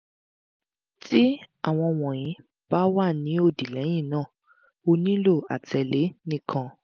ti awọn wọnyi ba wa ni odi lẹhinna o nilo atẹle nikan